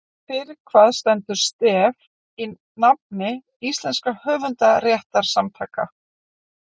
Fyrir hvað stendur STEF í nafni íslenskra höfundarréttarsamtaka?